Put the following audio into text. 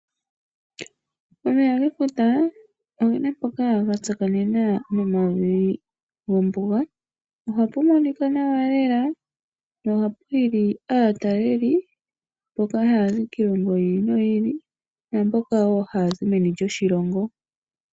Omeya gefuta ogena mpoka gatsakanena nomavi gombuga. Ohapu monika nawa lela nohapu hili aatalelipo mboka haya zi kiilongo yiili noyili naamboka haya zi meni lyoshilongo.